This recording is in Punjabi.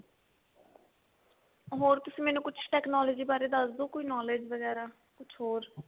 ਹੋਰ ਤੁਸੀਂ ਮੈਨੂੰ ਕੁਛ technology ਬਾਰੇ ਦੱਸਦੋ ਕੋਈ knowledge ਵਗੇਰਾ ਕੁਛ ਹੋਰ